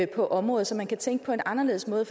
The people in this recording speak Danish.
på området så man kan tænke på en anderledes måde